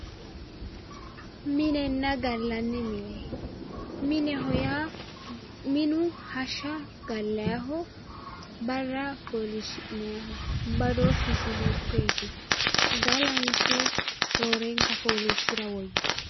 minenna galanni mine mineho yaa minu hashsha galayiiho barra foolishshinayiiho badooshisi hiikoyeeti galanso roorenka fooliishira woyitanno